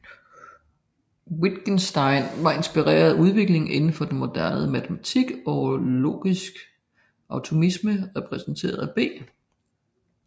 Wittgenstein var inspireret af udviklingen inden for moderne matematik og logisk atomisme repræsenteret af B